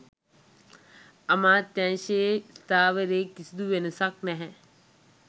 අමාත්‍යාංශයේ ස්ථාවරයේ කිසිදු වෙනසක් නැහැ.